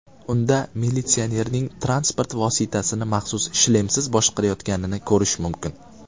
Unda militsionerning transport vositasini maxsus shlemsiz boshqarayotganini ko‘rish mumkin.